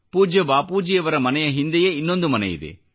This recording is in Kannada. ಪೂಜ್ಯ ಬಾಪೂಜಿಯವರ ಮನೆ ಹಿಂದೆಯೇ ಇನ್ನೊಂದು ಮನೆಯಿದೆ